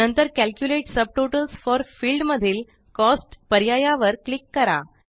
नंतर calculate subtotals for field मधील cost पर्याया वर क्लिक करा